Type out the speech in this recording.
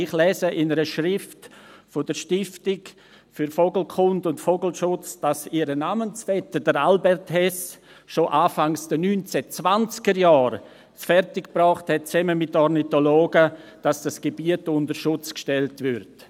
Ich lese in einer Schrift der Stiftung für Vogelkunde und Vogelschutz, dass ihr Namensvetter, Herr Albert Hess, es schon Anfang der 1920er-Jahre zusammen mit Ornithologen fertiggebracht hatte, dass dieses Gebiet unter Schutz gestellt wurde.